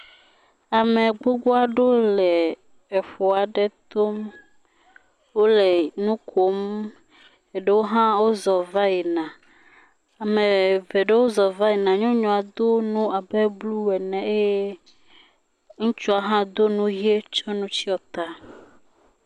Ame gbogbo aɖewo le eƒu aɖe to, wole nukom, eɖewo hã wozɔ va yina, ame eve aɖe zɔ va yina, nyɔnua do nu abe blue ne eye ŋutsua hã do nu ʋi tsɔ nu tsyɔ ta.